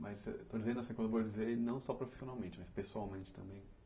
Mas eh estou dizendo assim, profissionalmente, mas pessoalmente também.